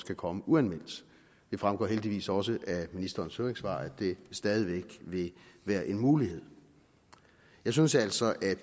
kan komme uanmeldt det fremgår heldigvis også af ministerens høringssvar at det stadig væk vil være en mulighed jeg synes altså at